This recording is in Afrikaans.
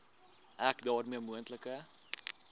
ek daarmee moontlike